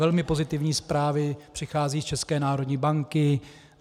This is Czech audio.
Velmi pozitivní zprávy přicházejí z České národní banky.